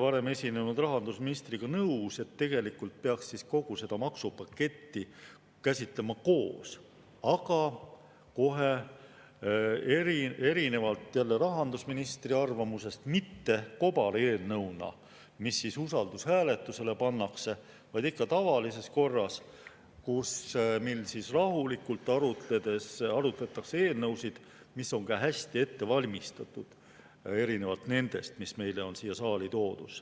varem esinenud rahandusministriga nõus, et tegelikult peaks kogu seda maksupaketti käsitlema koos, aga erinevalt rahandusministri arvamusest, mitte kobareelnõuna, mis usaldushääletusele pannakse, vaid ikka tavalises korras, mil rahulikult arutledes arutatakse eelnõusid, mis on hästi ette valmistatud, erinevalt nendest, mis meile on siia saali toodud.